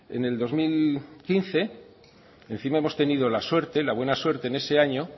en el dos mil quince encima hemos tenido la suerte la buena suerte en ese año